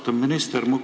Austatud minister!